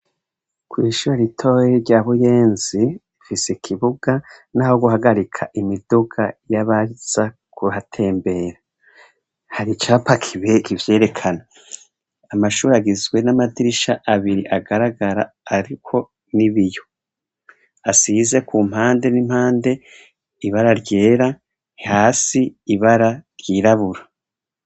Kw'ishuri ritoyi rya buyenzi rifise ikibuga n'aho guhagarika imiduga y'abaza kuhatembera hari icapa kibihe ivyerekana amashuragizwe n'amadirisha abiri agaragara, ariko n'ibiyo asize ku mpande n'impande ibara ryera hasi ibara ryirabura.